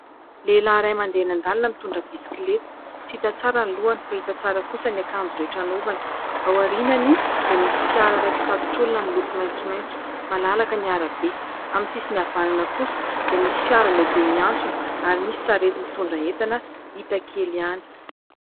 Lehilahy iray mandeha eny andalana mitondra bisikileta. Tsy hita tsara ny lohany fa hita tsara kosa ny akanjo rehetra anovany. Ao arinany dia misy fiara iray mpitatitr'olona miloko maintsomaintso. Malalaka ny arabe, amin'ny sisiny havanana kosa dia misy fiara lehibe miantsona ary misy sarety mitondra entana hita kely ihany.